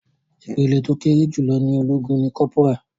Ìpele tó kéré jùlọ ní ológun ní kọ́pórà.